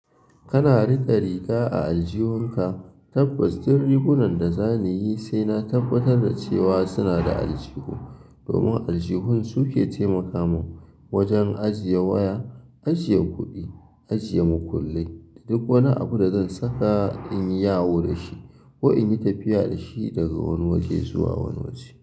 Kana riƙe riga a aljihunka, tabbas duk rigunan da zan yi sai na tabbatar da cewa suna da aljihu domin aljihun su ke taimaka mun wajen ajiye waya, ajiye kuɗi, ajiye makullai duk wani abu da zan saka in yawo da shi ko in yi tafiya da shi daga wani waje zuwa wani waje.